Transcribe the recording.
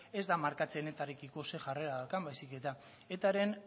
ez da markatzen etarekiko ze jarrera daukan baizik eta etaren